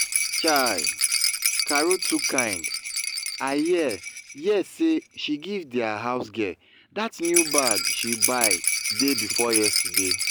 chaii! carol too kind i hear hear say she give dia housegirl dat new bag she buy day before yesterday